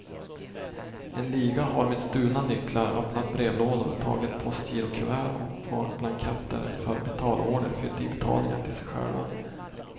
En liga har med stulna nycklar öppnat brevlådor, tagit postgirokuvert och på blanketter för betalorder fyllt i betalningar till sig själva.